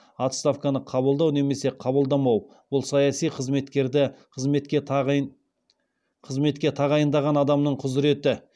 отставканы қабылдау немесе қабылдамау бұл саяси қызметкерді қызметке тағайындаған адамның құзыреті